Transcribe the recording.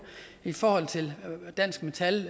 i forhold til dansk metal